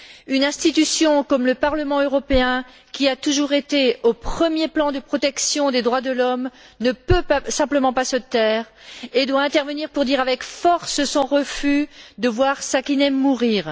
Une institution comme le Parlement européen, qui a toujours été au premier plan de la protection des droits de l'homme, ne peut simplement pas se taire et doit intervenir pour dire avec force son refus de voir Sakineh mourir.